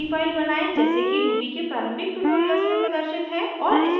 gedit में एक नयी फाइल बनायें जैसे कि ruby के प्रारंभिक ट्यूटोरियल्स में प्रदर्शित है